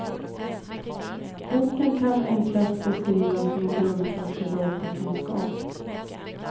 Boken kan enklast beskrivas som en grundkurs i datakunskap.